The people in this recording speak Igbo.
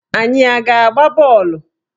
Anyị a ga-agba bọọlụ?